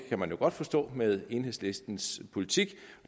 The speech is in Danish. kan man jo godt forstå med enhedslistens politik